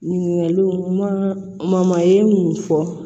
Ɲininkaliw ma mun fɔ